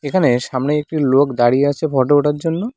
এখানে সামনে একটি লোক দাঁড়িয়ে আছে ফটো ওঠার জন্য।